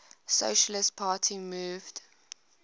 socialist party moved